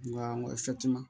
Nga